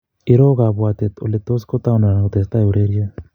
Iroo kapwatet oletos kotaunda anan kotesetai ureriet